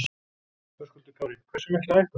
Höskuldur Kári: Hversu mikla hækkun?